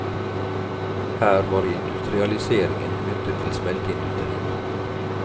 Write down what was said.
Her var industrialiseringen knyttet til smelteindustrien.